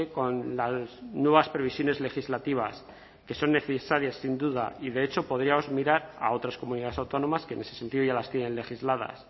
con las nuevas previsiones legislativas que son necesarias sin duda y de hecho podríamos mirar a otras comunidades autónomas que en ese sentido ya las tienen legisladas